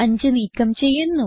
5 നീക്കം ചെയ്യുന്നു